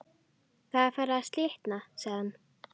Það er farið að slitna sagði hann.